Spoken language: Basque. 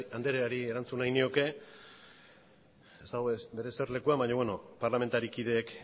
andreari erantzun nahi nioke ez dago bere eserlekuan baina bere parlamentari kideek